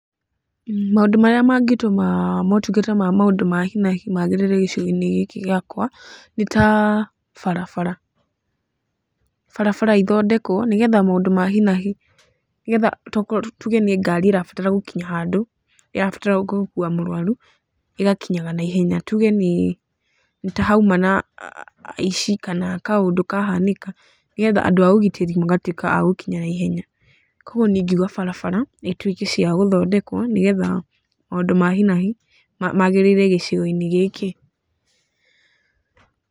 Maũndũ marĩa mangĩtũma motungata ma maũndũ ma hi na hi magĩrĩre gĩcigo-inĩ gĩkĩ gĩakwa, nĩ ta barabara. Barabara ithondekwo, nĩgetha maũndũ ma hi na hi nĩgetha tokorwo tuge nĩ ngari ĩrabatara gũkinya handũ, ĩrabatara gũkuua mũrwaru, ĩgakinyaga naihenya. Tuge nĩ ta hauma na aici kana kaũndũ kahanĩka. Nĩgetha andũ a ũgitĩri magatuĩka a gũkinya naihenya. Kũguo niĩ ingiuga barabara, ituĩke cia gũthondekwo, nĩgetha maũndũ ma hi na hi, magĩrĩre gĩcigo-inĩ gĩkĩ.